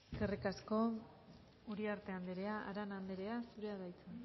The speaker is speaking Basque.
eskerrik asko uriarte andrea arana andrea zurea da hitza